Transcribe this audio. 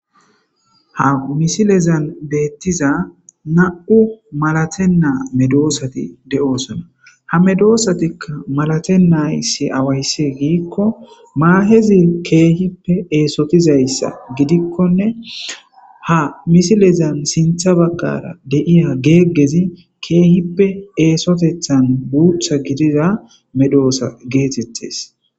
Ha misilezan beettiza na'u malatenaa medoosati de'osona ha medoosatikka malate nay si awayssi giikko maahezi keehippe eesotizayssa gidikkonne ha misilezan sintha baggara deiya geeggezi keehippe eesotethan guutha gidida medoosa geetettes